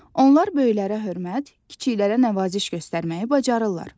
Onlar böyüklərə hörmət, kiçiklərə nəvaziş göstərməyi bacarırlar.